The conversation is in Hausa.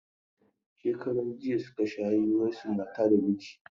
Shekaran jiya suka sha hirarsu matar da mijin.